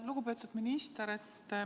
Lugupeetud minister!